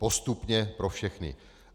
Postupně pro všechny.